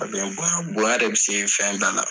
A bɛ n bonya, bonya de bɛ se fɛn bɛɛ la